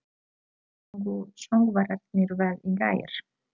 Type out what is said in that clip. Sungu söngvararnir vel í gær?